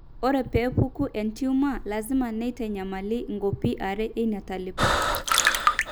ore peepuku entiumor, lasima neitanyamali inkopii are eina talipa.